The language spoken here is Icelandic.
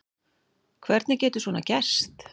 Hvernig getur svona gerst?